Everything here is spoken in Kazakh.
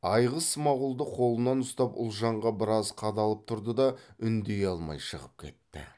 айғыз смағұлды қолынан ұстап ұлжанға біраз қадалып тұрды да үндей алмай шығып кетті